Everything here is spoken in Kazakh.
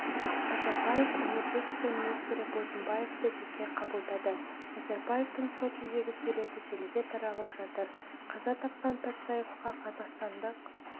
назарбаев энергетика министрі бозымбаевты жеке қабылдады назарбаевтың сочидегі суреті желіге таралып жатыр қаза тапқан патсаевқа қазақстандық